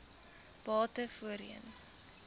bate voorheen